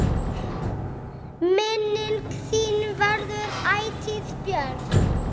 Minning þín verður ætíð björt.